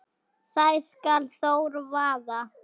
þær skal Þór vaða